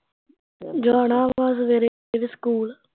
ਜਾਣਾ ਵਾਂ ਸਵੇਰੇ ਸਵੇਰੇ ਸਕੂਲ